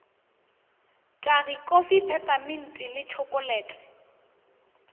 tagi kofi pepeminti le tšhokolete